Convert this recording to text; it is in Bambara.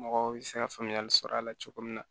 Mɔgɔw bɛ se ka faamuyali sɔrɔ a la cogo min na